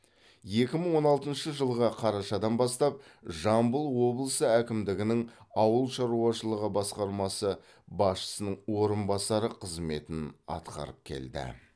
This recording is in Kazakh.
екі мың он алтыншы жылғы қарашадан бастап жамбыл облысы әкімдігінің ауыл шаруашылығы басқармасы басшысының орынбасары қызметін атқарып келді